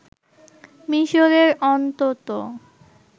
মিশরের অন্তত